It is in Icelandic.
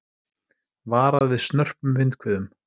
Varað við snörpum vindhviðum